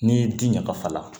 N'i ye ji ɲagafa